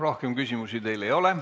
Rohkem küsimusi teile ei ole.